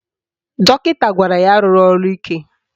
Dọkịta gwara ya arụla ọrụ ike